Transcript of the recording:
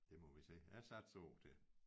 Det må vi se jeg satser år til